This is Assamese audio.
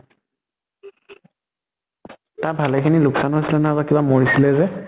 তাত ভালে খিনি লোক্চান হৈছিলে নহয় কিবা মৰিছিলে যে?